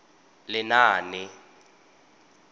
lenaane